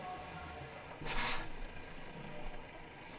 Zum einen wollen wir immer eine Rechtsgrundlage haben.